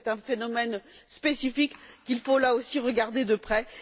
C'est un phénomène spécifique qu'il faut, là aussi, regarder de près.